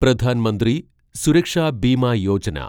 Pradhan Mantri Suraksha Bima Yojana